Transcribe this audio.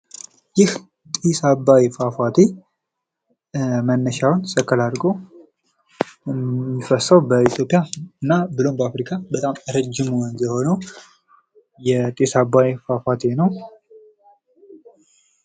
ይህ ጢስ አባይ ፏፏቴ መነሻውን ሰከላ አርጎ የሚፈሰው በኢትዮጵያ እና ብሎም በአፍሪካ በጣም ረጅሙ ወንዝ የሆነው የጢስ አባይ ፏፏቴ ነው።